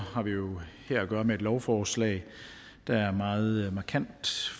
har vi jo her at gøre med et lovforslag der meget markant